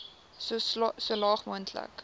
so laag moontlik